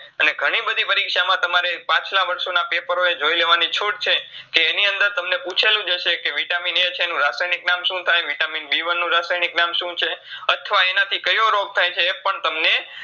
અને ઘણીબધી પરીક્ષામાં તમારે પાછલા વરશોના paper હોય તમને જોઇલેવાની છૂટછે કે એની અંદર તમને પૂછેલુંજ હસે કે Vitamin A છે એનું રાસાયનીક નામ શું થાય Vitamin B one નું રાસાયનીક નામ શું છે અથવા એનેથી કયો રોગ થાયછે એપણ તમને